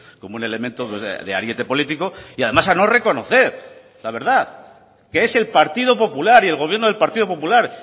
como un elemento de ariete político y además a no reconocer la verdad que es el partido popular y el gobierno del partido popular